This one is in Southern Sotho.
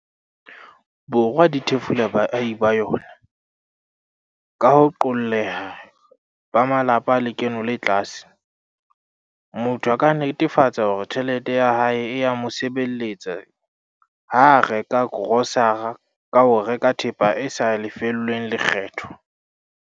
Borwa di thefula baahi ba yona, ka ho qolleha ba malapa a lekeno le tlase, motho a ka netefatsa hore tjhelete ya hae e ya mo sebeletsa ha a reka korosara ka ho reka thepa e sa lefellweng lekgetho.